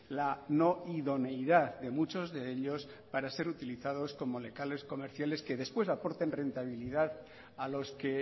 la no idoneidad de muchos de ellos para ser utilizados como locales comerciales que después aporten rentabilidad a los que